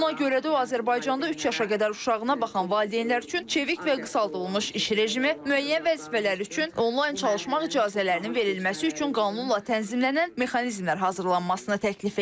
Buna görə də o, Azərbaycanda üç yaşına qədər uşağına baxan valideynlər üçün çevik və qısaldılmış iş rejimi, müəyyən vəzifələr üçün onlayn çalışmaq icazələrinin verilməsi üçün qanunla tənzimlənən mexanizmlər hazırlanmasını təklif edir.